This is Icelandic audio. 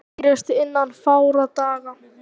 Skýrist innan fárra daga